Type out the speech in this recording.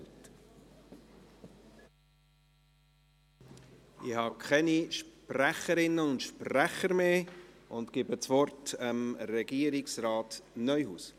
Ich habe keine Sprecherinnen und Sprecher mehr auf der Liste und gebe das Wort Regierungsrat Neuhaus.